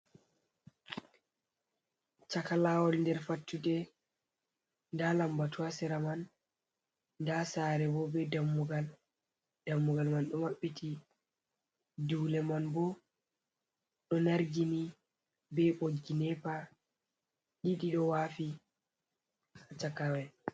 Chaka lawol nder fattude, nda lambatu ha sera man nda sare bo be Dammugal, Dammugal man ɗo mabɓiti. Dule man bo ɗo Nargini be boggi Nepa ɗiɗi ɗo wafi chaka mai.